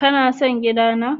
Ka na son gida na?